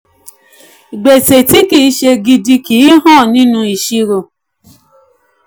gbèsè tí kì í ṣe gidi kì í hàn nínú ìṣirò.